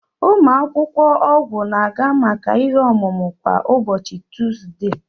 Ụmụ akwụkwọ ọgwụ na-aga maka ihe omume kwa ụbọchị Tuzde.